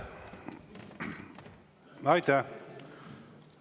Aitäh!